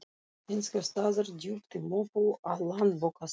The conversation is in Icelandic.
einhvers staðar djúpt í möppu á Landsbókasafninu.